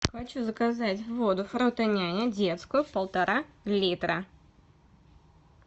хочу заказать воду фрутоняня детскую полтора литра